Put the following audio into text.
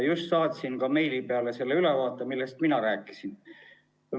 Just saatsin meili peale selle ülevaate, millest mina rääkisin.